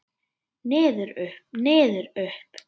Niður, upp, niður upp.